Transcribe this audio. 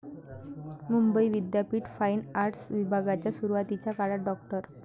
मुंबई विद्यापीठ fine arts विभागाच्या सुरुवातीच्या काळात डॉ.